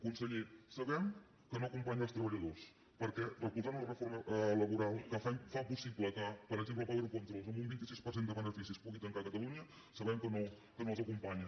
conseller sabem que no acompanya els treballadors perquè recolzant una reforma laboral que fa possible que per exemple power controls amb un vint sis per cent de beneficis pugui tancar a catalunya sabem que no els acompanya